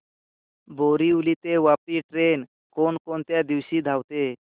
बोरिवली ते वापी ट्रेन कोण कोणत्या दिवशी धावते